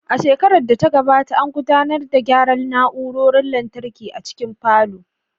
A shekarar da ta gabata, an gudanar da gyara na'urorin lantarki a cikin falon